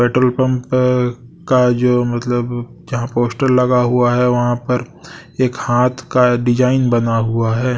Petrol pump का जो मतलब जहां पोस्टर लगा हुआ है वहां पर एक हाथ का डिजाइन बना हुआ है।